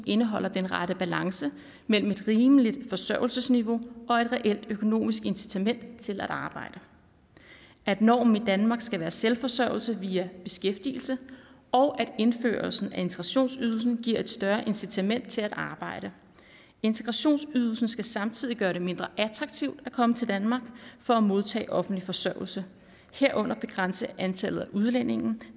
indeholder den rette balance mellem et rimeligt forsørgelsesniveau og et reelt økonomisk incitament til at arbejde at normen i danmark skal være selvforsørgelse via beskæftigelse og at indførelsen af integrationsydelsen giver et større incitament til at arbejde integrationsydelsen skal samtidig gøre det mindre attraktivt at komme til danmark for at modtage offentlig forsørgelse herunder begrænse antallet af udlændinge